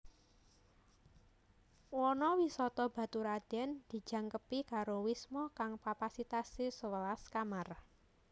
Wana Wisata Baturadèn dijangkepi karo wisma kang kapasitasé sewelas kamar